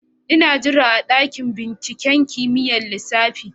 Ina jira a dakin binciken kimiyyar lissafi